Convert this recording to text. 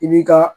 I b'i ka